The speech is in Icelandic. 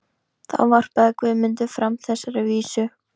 Þá varpaði Guðmundur fram þessari vísu: